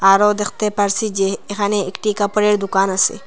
আরও দেখতে পারসি যে এখানে একটি কাপড়ের দোকান আসে।